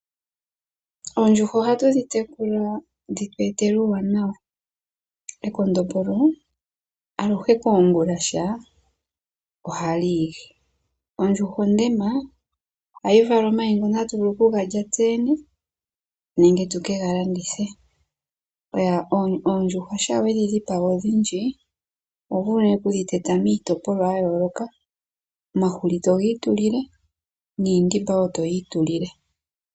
Oondjuhwa ohatu dhi tekula dhi tu etele uuwaanawa. Ekondombolo aluhe keengulasha ohali lili. Ondjuhwa ondema ohayi vala omayi ngoka tatu vulu okuga lya tse yene nenge tatu vulu okuga landitha. Oondjuhwa shampa we dhi dhipaga odhindji oho vulu oku dhi teta miitopolwa ya yooloka omahuli togi itulile niindimba woo toyi itulile.